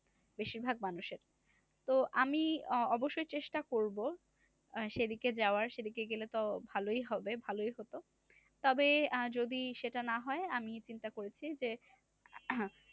বেশিরভাগ মানুষের তো আমি অবশ্যই চেষ্টা করব সেদিকে যাওয়ার সে দিকে গেলেতো ভালোই হবে ভালোই হতো। তবে আহ যদি সেটা না হয় আমি চিন্তা করেছি যে,